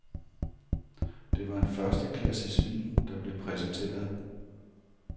Det var en førsteklasses vin, der blev præsenteret.